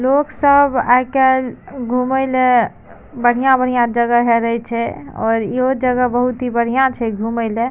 लोग सब आय-काल घूमे ले बढ़िया-बढ़िया जगह हेरे छै और इहो जगह बहुत ही बढ़िया छै घूमे ले।